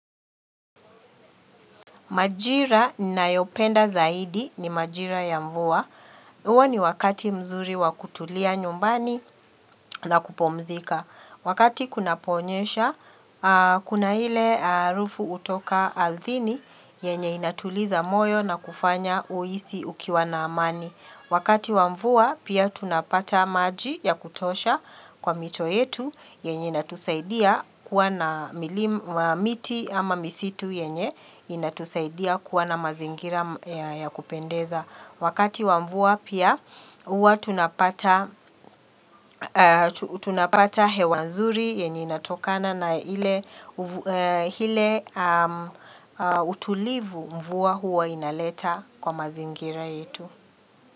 Majira nayopenda zaidi ni majira ya mvua. Huo ni wakati mzuri wa kutulia nyumbani na kupomzika. Wakati kunaponyesha, kuna ile harufu hutoka ardhini yenye inatuliza moyo na kufanya uhisi ukiwa na amani. Wakati wa mvua, pia tunapata maji ya kutosha kwa mito yetu yenye inatusaidia kuwa na miti ama misitu yenye inatusaidia kuwa na mazingira ya kupendeza. Wakati wa mvua pia huwa tunapata tunapata hewa nzuri yenye inatokana na ile utulivu mvua hua inaleta kwa mazingira yetu.